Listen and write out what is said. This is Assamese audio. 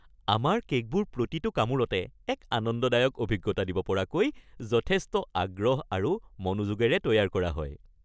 আমাৰ কে'কবোৰ প্ৰতিটো কামোৰতে এক আনন্দদায়ক অভিজ্ঞতা দিব পৰাকৈ যথেষ্ট আগ্ৰহ আৰু মনোযোগেৰে তৈয়াৰ কৰা হয়।